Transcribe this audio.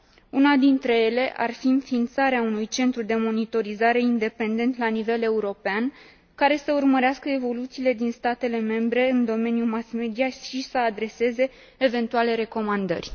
Una dintre ele ar fi înființarea unui centru de monitorizare independent la nivel european, care să urmărească evoluțiile din statele membre în domeniul mass media și să adreseze eventuale recomandări.